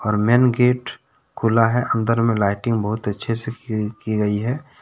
और main gate खोला है अंदर में लाइटिंग बहुत अच्छे से की गई है।